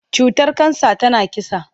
Cutar kansa tana kisa.